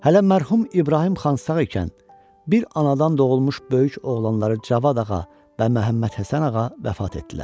Hələ mərhum İbrahim xan sağ ikən, bir anadan doğulmuş böyük oğlanları Cavad Ağa və Məhəmməd Həsən Ağa vəfat etdilər.